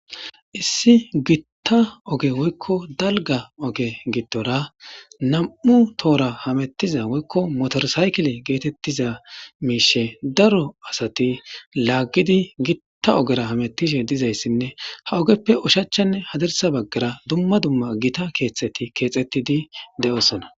Issi gitta oge woykko dalga oge giddora nam'u tohora hamettiza woykko motor saykile geetettiza miishi daro asati laaggidi gitta ogera hamettishe diza issinne ha ogeppe ushachanne hadarisa baggara dumma dumma gita keexxeti keexettidi de'osona.